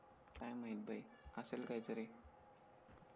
काय माहित भाई असेल काही तरी